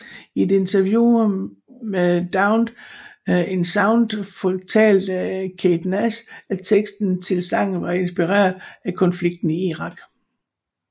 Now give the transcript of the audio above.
I et interview med Drowned in Sound fortalte Kate Nash at teksten til sangen var inspireret af konflikten i Irak